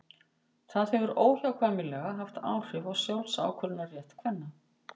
það hefur óhjákvæmilega haft áhrif á sjálfsákvörðunarrétt kvenna